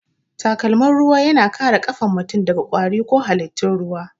Takalmin ruwa yana kare kafan mutum daga kwari ko halittun ruwa